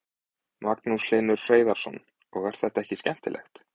Magnús Hlynur Hreiðarsson: Og er þetta ekki skemmtilegt?